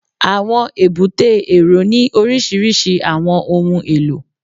Àwọn èbúté èrò ní oríṣiríṣi àwọn ohun èlò